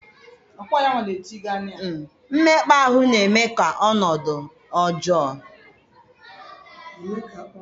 mmekpa ahụ na-eme ka ọnọdụ ọjọọ.